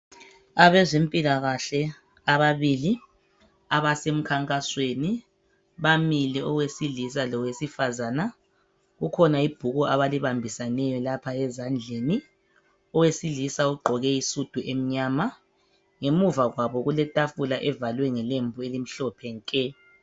Abazemphilakahle ababili abasemkhangasweni bamile oyewesilisa lawesifazana, kukhona ibhuku abalibambisaneyo lapha ezadleni, owesilisa ugqoke isudu emnyama. Ngemva kwabo kulethafula evalwe ngelembu elimhlophe nke.